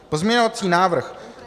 Pozměňovací návrh